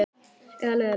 Eða leiðinlegt?